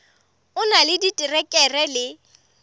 o na le diterekere le